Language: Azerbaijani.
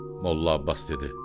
Molla Abbas dedi: